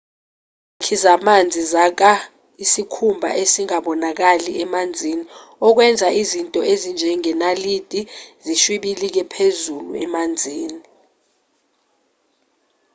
izakhi zamanzi zakha isikhumba esingabonakali emanzini okwenza izinto ezinjengenalithi zishwibilike phezulu emanzini